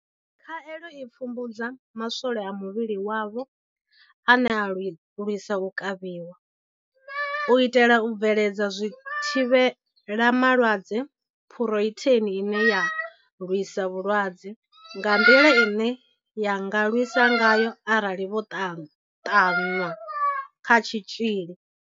Khaelo i pfumbudza ma swole a muvhili wavho ane a lwisa u kavhiwa, u itela u bveledza zwithivhelama lwadze Phurotheini ine ya lwisa vhulwadze nga nḓila ine ya nga lwisa ngayo arali vho ṱanwa kha tshitzhili.